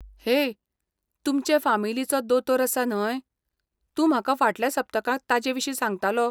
हेय, तुमचे फामिलीचो दोतोर आसा, न्हय? तूं म्हाका फाटल्या सप्तकांत ताजेविशीं सांगतालो.